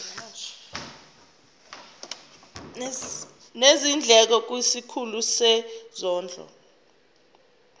nezindleko kwisikhulu sezondlo